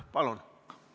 Palun!